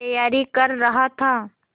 तैयारी कर रहा था